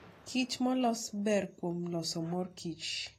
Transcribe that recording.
kich molos ber kuom loso mor kich.